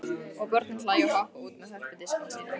Og börnin hlæja og hoppa út með hörpudiskana sína.